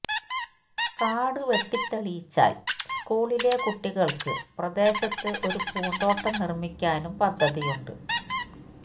കാട് വെട്ടിത്തെളിച്ചാൽ സ്കൂളിലെ കുട്ടികൾക്ക് പ്രദേശത്ത് ഒരു പൂന്തോട്ടം നിർമിക്കാനും പദ്ധതിയുണ്ട്